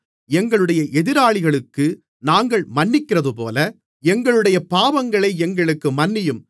எங்களுடைய எதிராளிகளுக்கு நாங்கள் மன்னிக்கிறதுபோல எங்களுடைய பாவங்களை எங்களுக்கு மன்னியும்